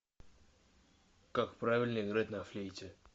как правильно играть на флейте